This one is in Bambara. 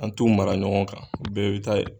An t'u mara ɲɔgɔn kan, u bɛɛ bɛ taa yen.